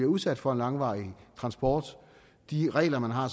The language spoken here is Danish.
udsat for en langvarig transport de regler man har